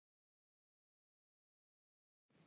Helga: Hvað gerir hún?